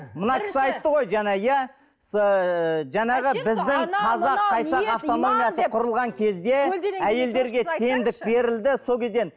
мына кісі айтты ғой жаңа иә әйелдерге теңдік берілді сол кезден